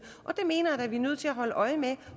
og det mener at vi er nødt til at holde øje med